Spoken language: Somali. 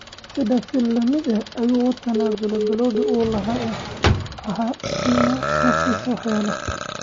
Sidaas si la mid ah ayuu uga tanaasulay balwaddii uu lahaa ee ahaa in uu naftiisa waxyeeleeyo.